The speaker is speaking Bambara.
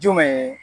Jumɛn ye